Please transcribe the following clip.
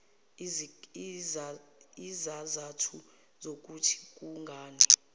izizathu zokuthi kungani